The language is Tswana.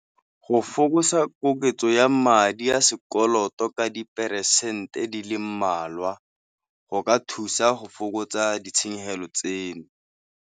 Go fokotsa koketso ya madi a sekoloto ka diperesente di le mmalwa, go ka thusa go fokotsa ditshenyegelo tseno.